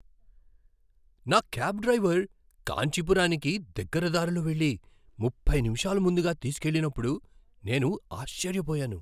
నా cab driver కాంచీపురానికి దగ్గర దారిలో వెళ్లి ముప్పై నిమిషాలు ముందుగా తీసుకువెళ్ళినప్పుడు నేను ఆశ్చర్యపోయాను!